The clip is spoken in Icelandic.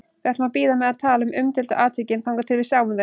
Við ætlum að bíða með að tala um umdeildu atvikin þangað til við sjáum þau.